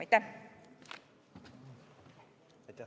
Aitäh!